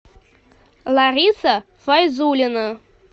лариса файзуллина